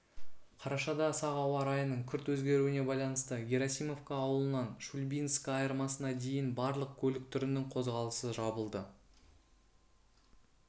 қарашада сағ ауа райының күрт өзгеруіне байланысты герасимовка ауылынан шульбинскіайырмасына дейін барлық көлік түрінің қозғалысы жабылды